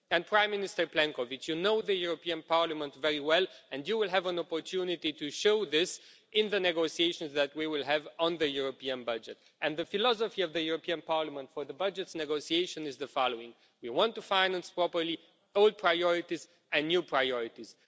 Prime Minister Plenković, you know the European Parliament very well and you will have an opportunity to show this in the negotiations that we will have on the European budget, and the philosophy of the European Parliament for the budget negotiation is the following we want to finance properly old priorities and new priorities.